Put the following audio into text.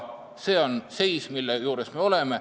See on seis, kus me oleme.